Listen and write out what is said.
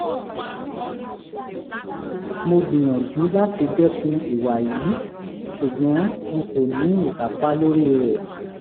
mo gbìyànjú láti dẹ́kun ìwà yìí ṣùgbọ́n n kò ní ìkápá lórí rẹ̀